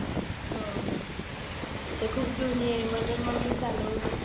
हम्म ती तर खुप जुनी आहे म्हणून मग मी चालवून घेते.